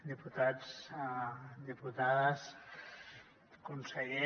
diputats diputades conseller